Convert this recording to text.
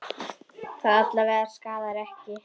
Amma mín er dáin.